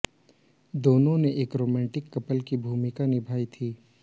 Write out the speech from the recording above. दोनों ने एक रोमांटिक कपल की भूमिका निभाई थी